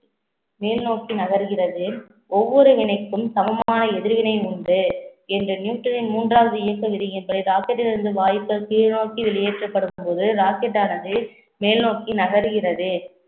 மேல் நோக்கி நகர்கிறது ஒவ்வொரு வினைக்கும் சமமான எதிர்வினை உண்டு என்ற நியூட்டனின் மூன்றாவது இயக்க விதியின் படி, இருந்து வாய்ப்பை கீழ் நோக்கி வெளியேற்றப்படும்போது rocket ஆனது மேல் நோக்கி நகர்கிறது